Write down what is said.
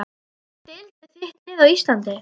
Í hvaða deild er þitt lið á Íslandi?